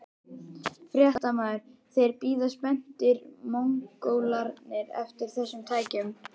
Fréttamaður: Þeir bíða spenntir, Mongólarnir eftir þessum tækjum?